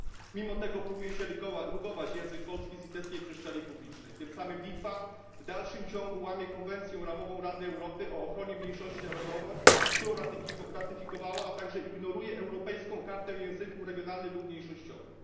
Mimo tego próbuje się rugować język polski z litewskiej przestrzeni publicznej, tym samy Litwa w dalszym ciągu łamie Konwencję ramową Rady Europy o ochronie mniejszości narodowej, którą ratyfikowała, a także ignoruje Europejską Kartę Języków Regionalnych lub Mniejszościowych.